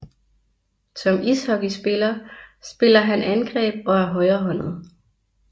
Som ishockeyspiller spiller han angreb og er højrehåndet